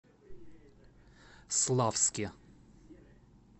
славске